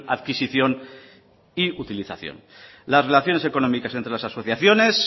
adquisición y utilización las relaciones económicas entre las asociaciones